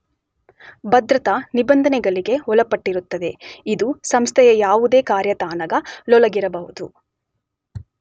ಭದ್ರತಾ ನಿಬಂಧನೆಗಳಿಗೆ ಒಳಪಟ್ಟಿರುತ್ತದೆ , ಇದು ಸಂಸ್ಥೆಯ ಯಾವುದೇ ಕಾರ್ಯತಾಣಗಳೊಳಗಿರಬಹುದು.